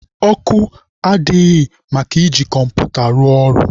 Ọkụ adịghị maka iji kọmputa rụọ ọrụ.